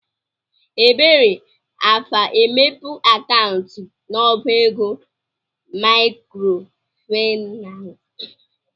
Ebere afa-emepe akaụntụ n'ọbá ego maịkrofaịnans?